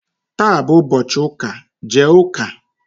taa bụ ụbọchị ụka, jee ụka!